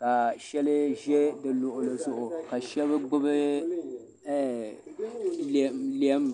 ka sheli ʒɛ di luɣuli zuɣu ka shɛba gbubi lɛm.